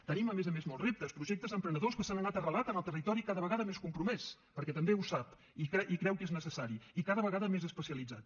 tenim a més a més molts reptes projectes emprenedors que s’han anat arrelant en el territori cada vegada més compromès perquè també ho sap i creu que és necessari i cada vegada més especialitzat